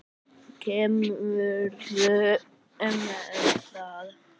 Kemurðu með það!